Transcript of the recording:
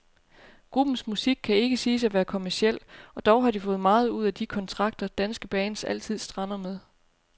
Gruppens musik kan ikke siges at være kommerciel, og dog har de fået meget ud af de kontrakter, danske bands altid strander med.